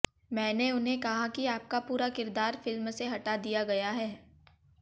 मैने उन्हें कहा कि आपका पूरा किरदार फिल्म से हटा दिया गया है